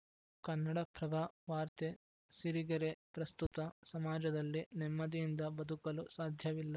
ಕನ್ನಡಪ್ರಭ ವಾರ್ತೆ ಸಿರಿಗೆರೆ ಪ್ರಸ್ತುತ ಸಮಾಜದಲ್ಲಿ ನೆಮ್ಮದಿಯಿಂದ ಬದುಕಲು ಸಾಧ್ಯವಿಲ್ಲ